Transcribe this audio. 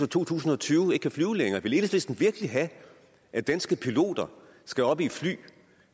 to tusind og tyve ikke kan flyve længere vil enhedslisten virkelig have at danske piloter skal op i et fly